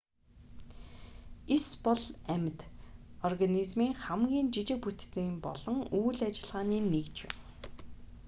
эс бол амьд зүйлс организмын хамгийн жижиг бүтцийн болон үйл ажиллагааны нэгж юм